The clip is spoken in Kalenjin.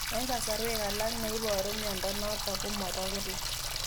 Eng' kasarwek alak neiparu miondo notok ko mapokila